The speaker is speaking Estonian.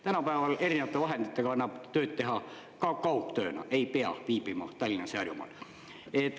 Tänapäeval erinevate vahenditega annab tööd teha ka kaugtööna, ei pea viibima Tallinnas ja Harjumaal.